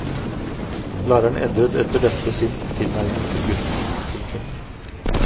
Læreren endret etter dette sin tilnærming til gutten. punktum